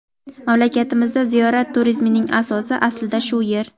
Mamlakatimizda ziyorat turizmining asosi aslida shu yer.